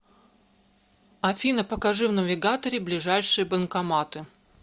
афина покажи в навигаторе ближайшие банкоматы